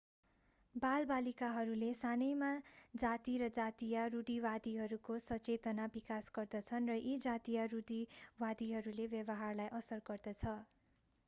बालबालिकाहरूले सानैमा जाति र जातीय रूढिवादीहरूको सचेतना विकास गर्दछन् र यी जातीय रूढीवादीहरूले व्यवहारलाई असर गर्दछ